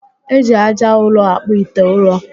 E ji aja ụrọ akpụ ite ụrọ